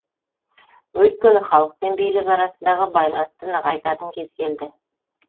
өйткені халық пен билік арасындағы байланысты нығайтатын кез келді